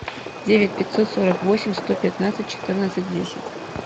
девять пятьсот сорок восемь сто пятнадцать четырнадцать десять